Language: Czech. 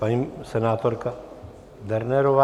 Paní senátorka Dernerová.